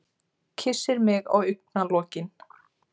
Kyssir mig á augnalokin.